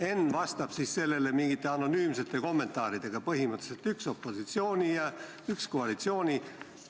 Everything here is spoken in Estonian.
Enn vastas sellele mingite anonüümsete kommentaaridega, et põhimõtteliselt üks oli opositsioonist ja üks koalitsioonist.